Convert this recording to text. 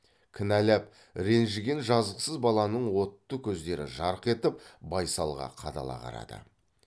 кінәлап ренжіген жазықсыз баланың отты көздері жарқ етіп байсалға қадала қарады